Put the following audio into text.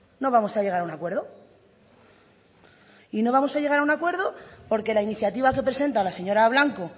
no vamos a llegar a un acuerdo y no vamos a llegar a un acuerdo porque la iniciativa que presenta la señora blanco